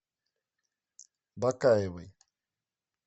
бакаевой